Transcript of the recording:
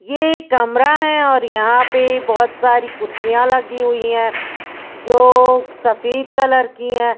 ये कमरा है और यहां पे बहोत सारी कुर्सियां लगी हुई है जो सफेद कलर की है।